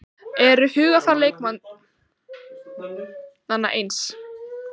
Eru hugarfar leikmanna eins?